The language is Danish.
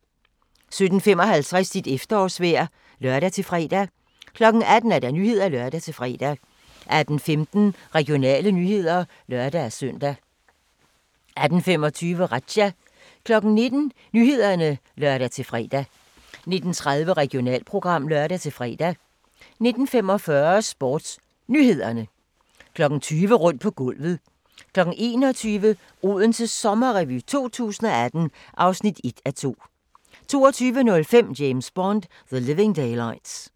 17:55: Dit efterårsvejr (lør-fre) 18:00: Nyhederne (lør-fre) 18:15: Regionale nyheder (lør-søn) 18:25: Razzia 19:00: Nyhederne (lør-fre) 19:30: Regionalprogram (lør-fre) 19:45: SportsNyhederne 20:00: Rundt på gulvet 21:00: Odense Sommerrevy 2018 (1:2) 22:05: James Bond: The Living Daylights